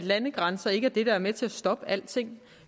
landegrænser ikke er det der er med til at stoppe alting